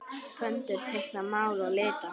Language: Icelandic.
Föndra- teikna- mála- lita